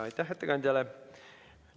Aitäh ettekandjale!